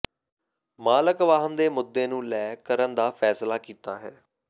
ਮਾਲਕ ਵਾਹਨ ਦੇ ਮੁੱਦੇ ਨੂੰ ਲੈ ਕਰਨ ਦਾ ਫੈਸਲਾ ਕੀਤਾ ਹੈ